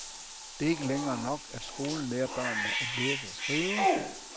Det er ikke længere nok, at skolen lærer børnene at læse og skrive.